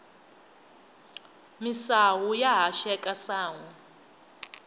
misawu ya haxeka sanhwi